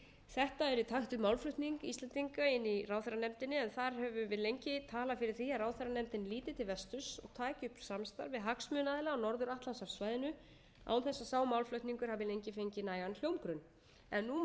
þetta er í takt við málflutning íslendinga inni í ráðherranefndinni en þar höfum við lengi talað fyrir því að ráðherranefndin líti til vesturs og taki upp samstarf við hagsmunaaðila á norður atlantshafssvæðinu án þess að sá málflutningur hafi lengi fengið nægan hljómgrunn en nú má sjá